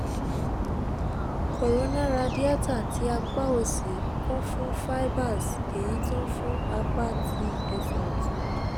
corona radiata ti apa osi kun fun fibers eyi to n fun apa ati ese otun